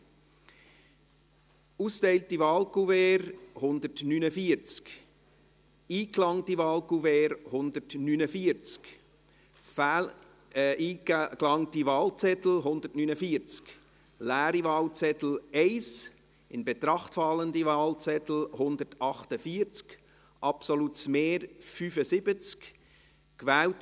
Bei 149 ausgeteilten und 149 eingegangenen Wahlzetteln, wovon leer 1 und ungültig 0, in Betracht fallend 148, wird mit einem absoluten Mehr von 75 gewählt: